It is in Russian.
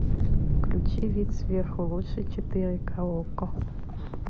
включи вид сверху лучше четыре к окко